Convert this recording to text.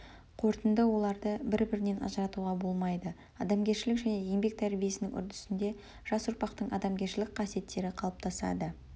қорытынды оларды бір бірінен ажыратуға болмайды адамгершілік және еңбек тәрбиесінің үрдісінде жас ұрпақтың адамгершілік қасиеттері қалыптасады